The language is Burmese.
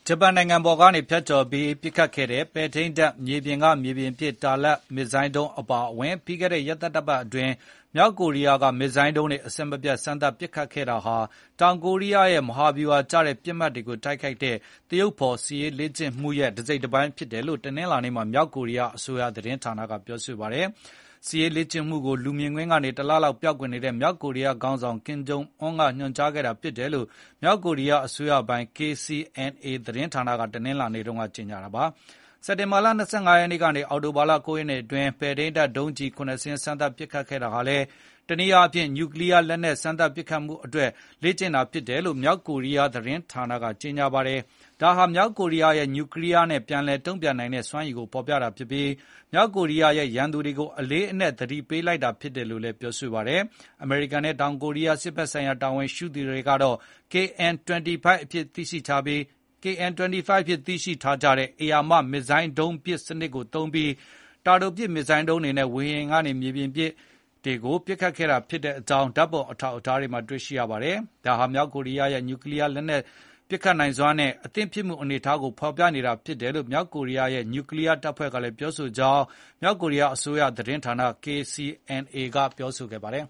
ဂျပန်နိုင်ငံပေါ်ကနေ ဖြတ်ကျော်ပစ်ခတ်ခဲ့တဲ့ ပဲ့ထိန်းတပ် မြေပြင်ကမြေပြင် တာလတ်ပစ် မစ်ဇိုင်းဒုံး အပါအဝင် ပြီးခဲ့တဲ့ ရက်သတ္တပတ်တွေအတွင်း မြောက်ကိုရီးယားက မစ်ဇိုင်းဒုံးတွေ အဆက်မပြတ် စမ်းသပ်ပစ်ခတ်ခဲ့တာဟာ တောင်ကိုရီးယားရဲ့ မဟာဗျူဟာကျတဲ့ ပစ်မှတ်တွေကိုတိုက်ခိုက်တဲ့ သရုပ်ဖေါ်စစ်ရေးလေ့ကျင့်မှုရဲ့ တစိပ်တပိုင်းဖြစ်တယ်လို့ တနင်္လာနေ့မှာ မြောက်ကိုရီးယား အစိုးရသတင်းဌာနကပြောဆိုလိုက်ပါတယ်။ ဒီစစ်ရေးလေ့ကျင့်မှုကို လူမြင်ကွင်းကနေ တလလောက်ပျောက်ကွယ်နေတဲ့ မြောက်ကိုရီးယား ခေါင်းဆောင် ကင်ဂျုံအွန်း ကညွှန်ကြားခဲ့တာလို့ မြောက်ကိုရီးယား အစိုးရပိုင် KCNA သတင်းဌာနက တနင်္လာနေ့က ကြေညာခဲ့ပါတယ်။ စက်တင်ဘာ ၂၅ ရက်ကနေ အောက်တိုဘာ ၉ ရက်အတွင်း ပဲ့ထိန်းဒုံးကျည် ၇ ကြိမ်စမ်းသပ်ပစ်ခတ်ခဲ့တာဟာ တနည်းအားဖြင့် ညူကလီယား လက်နက်ပစ်ခတ်မှုအတွက် စမ်းသပ်လေ့ကျင့်တာဖြစ်တယ်လို့ မြောက်ကိုရီးယား သတင်းဌာနက ကြေညာခဲ့ပါတယ်။ ဒါဟာ မြောက်ကိုရီးယားရဲ့ ညူကလီးယားနဲ့ ပြန်လည်တိုက်ခိုက်နိုင်တဲ့ စွမ်းရည်ကိုဖေါ်ပြတာဖြစ်ပြီး၊ မြောက်ကိုရီးယားရဲ့ ရန်သူတွေကို အလေးအနက် သတိပေးလိုက်တာ ဖြစ်တယ်လို့လည်း ပြောဆိုခဲ့ပါတယ်။ အမေရိကန်နဲ့ တောင်ကိုရီးယား စစ်ဘက်ဆိုင်ရာ တာဝန်ရှိသူတွေက KN 25 အဖြစ် သိရှိထားကြတဲ့ ဧရာမ မစ်ဇိုင်းဒုံးပစ်စင်ကို သုံးပြီး၊ တာတိုပစ် မစ်ဇိုင်းဒုံးတွေကို ဝေဟင်နဲ့ မြေပြင်ပစ်မှတ်တွေကို ပစ်ခတ်ခဲ့ကြောင်းလည်း ဓာတ်ပုံ အထောက်အထားတွေမှာ တွေ့ရပါတယ်။ ဒါဟာ မြောက်ကိုရီးယားရဲ့ ညူကလီးယား လက်နက် ပစ်ခတ်နိုင်စွမ်းနဲ့ အသင်ဖြစ်မှု အနေအထားကို ဖေါ်ပြထားဖြစ်တယ်လို့ မြောက်ကိုရီးယားရဲ့ ညူကလီးယားတပ်ဖွဲ့ကလည်း ပြောဆိုကြောင်း မြောက်ကိုရီးယားအစိုးရ သတင်းဌာန KCNA ကပြောဆိုခဲ့ပါတယ်။